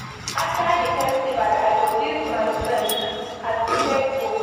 After di festival, I go gist my friends as e take go.